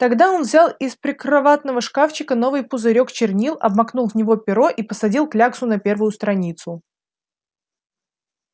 тогда он взял из прикроватного шкафчика новый пузырёк чернил обмакнул в него перо и посадил кляксу на первую страницу